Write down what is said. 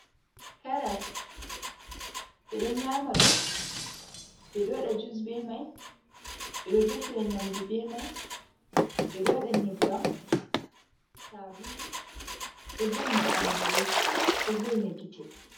Karas ɓe ɗon nyama ɗum, ɓe ɗo waɗa jus be mai, ɓe ɗo defira nyamdu be mai, ɓe ɗo waɗa nyebbam, sabulu ɗo voina ɓandu, ɗo vo'ina gite.